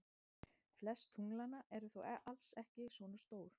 Flest tunglanna eru þó alls ekki svona stór.